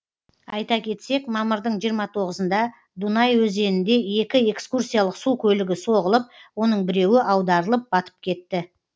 айта кетсек мамырдың жиырма тоғызында дунай өзенінде екі экскурсиялық су көлігі соғылып оның біреуі аударылып батып кетті